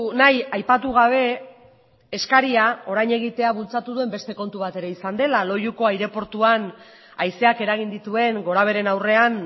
nahi aipatu gabe eskaria orain egitea bultzatu duen beste kontu bat ere izan dela loiuko aireportuan haizeak eragin dituen gorabeheren aurrean